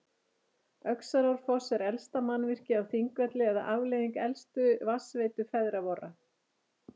Öxarárfoss er elsta mannvirkið á Þingvelli eða afleiðing elstu vatnsveitu feðra vorra.